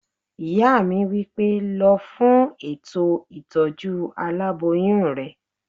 Ìyá mi wí pé "lọ fún ètò ìtọ́jú aláboyún rẹ!"